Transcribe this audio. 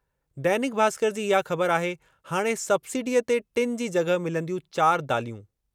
दैनिक भास्कर जी इहा ख़बर आहे हाणे सब्सिडीअ ते टिनि जी जग॒हि मिलंदियूं चार दालियूं।